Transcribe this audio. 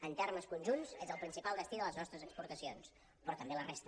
en termes conjunts és el principal destí de les nostres exportacions però també la resta